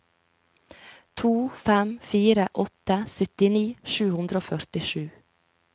to fem fire åtte syttini sju hundre og førtisju